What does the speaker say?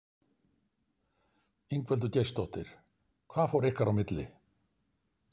Ingveldur Geirsdóttir: Hvað fór ykkar á milli?